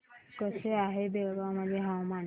कसे आहे बेळगाव मध्ये हवामान